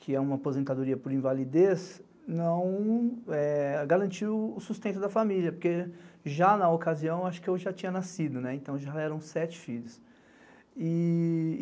que é uma aposentadoria por invalidez, não garantiu o sustento da família, porque já na ocasião acho que eu já tinha nascido, então já eram sete filhos.